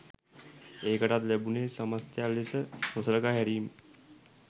එකටත් ලැබුනේ සමස්තයක් ලෙස නොසලකා හැරීම්